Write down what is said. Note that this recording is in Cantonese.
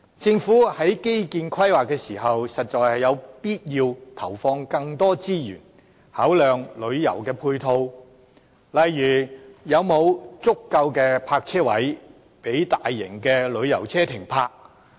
政府在規劃基建時，實在有必要投放更多資源，考量旅遊配套，例如有否足夠的泊車位予大型旅遊車停泊。